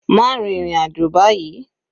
Má rin ìrìn àjò báyìí.